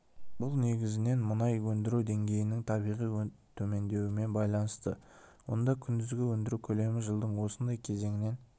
бұл негізінен мұнай өндіру деңгейінің табиғи төмендеуімен байланысты онда күндізгі өндіру көлемі жылдың осындай кезеңінен